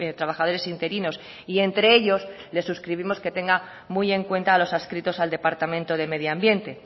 trabajadores interinos y entre ellos les suscribimos que tenga muy en cuenta a los adscritos al departamento de medioambiente